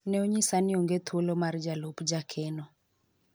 ne onyisa ni onge thuolo mar jalup jakeno